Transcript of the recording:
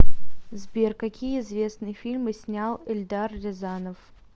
сбер какие известные фильмы снял эльдар рязанов